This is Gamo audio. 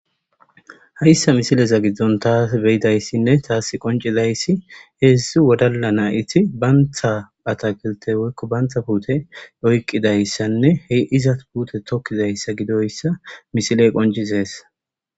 Hayssa misileza giddon taas beyidayssinne taas qoncidayssi heedzdzu wodala na'iti bantha ata gelte weykko bantha puute oykqidayssanne he izat puute tokkizayssa gidoyssa misiley qoncizees